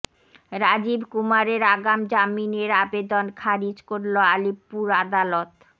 রাজীব কুমারের আগাম জামিনের আবেদন খারিজ করল আলিপুর আদালত